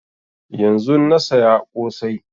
Yanzun na saya ƙosai